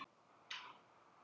Hann er hinn kurteisasti.